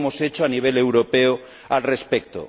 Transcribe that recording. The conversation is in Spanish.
¿Qué hemos hecho a nivel europeo al respecto?